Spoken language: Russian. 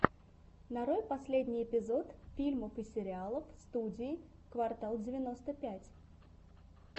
нарой последний эпизод фильмов и сериалов студии квартал девяносто пять